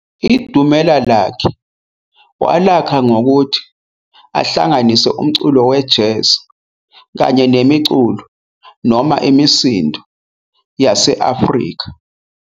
Idumela lakhe walakh ngokuthi ahlanganise umculo we-jazz kanye nemiculo noma imisindo yase-Afrika.